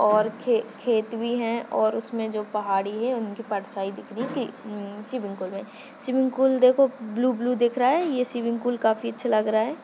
और खे खेत भी है और उसमे जो पहाड़ी है उनकी परछाई दिख रही अं सिमिंगपूल मे सिमिंगपूल देखो ब्लू ब्लू दिख रहा है ये सिमिंगपूल काफी अच्छा लग रहा है।